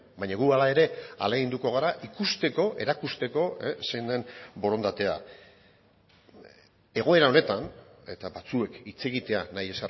baina guk hala ere ahaleginduko gara ikusteko erakusteko zein den borondatea egoera honetan eta batzuek hitz egitea nahi